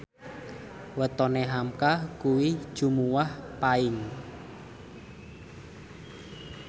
wetone hamka kuwi Jumuwah Paing